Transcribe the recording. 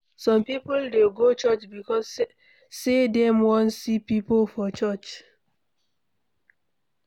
Some people de go Church because say dem won see pipo for church